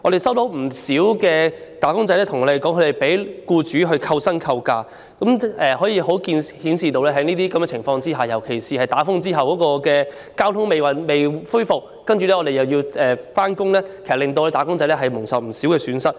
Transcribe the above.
不少"打工仔"均向我們反映，他們被僱主扣薪或扣假，可見在這些情況下，特別是在颱風過後，當公共交通服務仍未恢復，但僱員卻須如常上班時，"打工仔"便會蒙受若干損失。